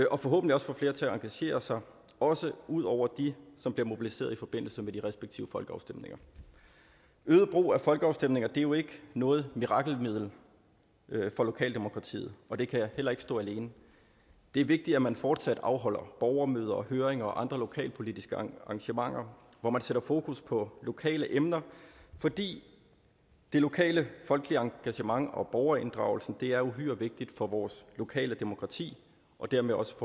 og forhåbentlig også få flere til at engagere sig også ud over dem som bliver mobiliseret i forbindelse med de respektive folkeafstemninger øget brug af folkeafstemninger er jo ikke noget mirakelmiddel for lokaldemokratiet og det kan heller ikke stå alene det er vigtigt at man fortsat afholder borgermøder og høringer og andre lokalpolitiske arrangementer hvor man sætter fokus på lokale emner fordi det lokale folkelige engagement og borgerinddragelsen er uhyre vigtig for vores lokale demokrati og dermed også